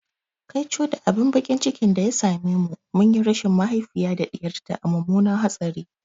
Kaico da abin baƙin ciki da ya same mu, mun yi rashin mahaifiya da ɗiyar ta a mummunan hatsari.